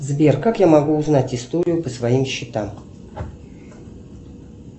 сбер как я могу узнать историю по своим счетам